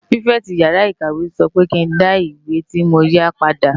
Pitifèti iyàrá ikáwé sò pè kin dá iwé ti mó yá pàdá